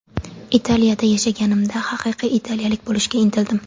Italiyada yashaganimda, haqiqiy italiyalik bo‘lishga intildim.